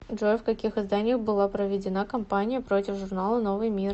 джой в каких изданиях была проведена кампания против журнала новый мир